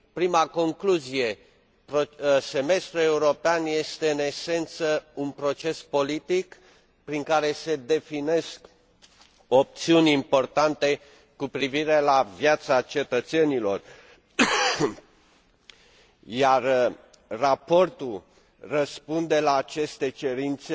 Prima concluzie Semestrul european este în esență un proces politic prin care se definesc opțiuni importante cu privire la viața cetățenilor, iar raportul răspunde la aceste cerințe